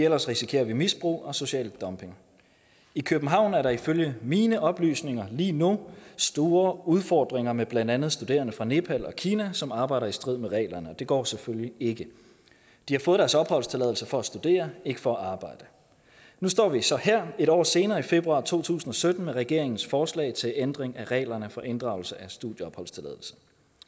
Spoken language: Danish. ellers risikerer vi misbrug og social dumping i københavn er der ifølge mine oplysninger lige nu store udfordringer med blandt andet studerende fra nepal og kina som arbejder i strid med reglerne og det går selvfølgelig ikke de har fået deres opholdstilladelse for at studere ikke for at arbejde nu står vi så her et år senere i februar to tusind og sytten med regeringens forslag til ændring af reglerne for inddragelse af studieopholdstilladelse